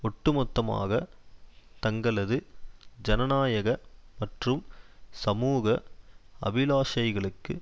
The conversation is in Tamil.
ஒட்டுமொத்தமாக தங்களது ஜனநாயக மற்றும் சமூக அபிலாஷைகளுக்கு